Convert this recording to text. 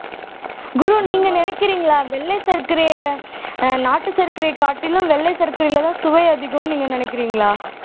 குரு நீங்க நினைக்கிறீங்களா வெள்ளை சர்க்கரையை அஹ் நாட்டு சர்க்கரையைக் காட்டிலும் வெள்ளை சர்க்கரையிலதான் சுவை அதிகம்ன்னு நீங்க நினைக்கிறீங்களா